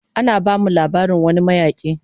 Ana bamu labarin wani mayaki